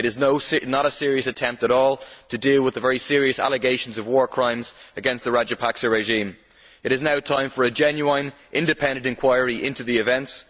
It is not a serious attempt at all to deal with the very serious allegations of war crimes against the Rajapakse regime. It is now time for a genuine independent inquiry into the events.